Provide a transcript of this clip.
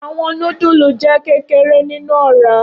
Awọn nudulu jẹ kekere ninu ọra.